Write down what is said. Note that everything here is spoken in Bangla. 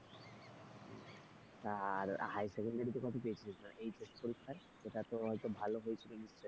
আর high secondary তে কত পেয়েছিলিস মানে HS পরীক্ষায় সেটা তো হয়তো ভালো হয়েছিল নিশ্চয়ই?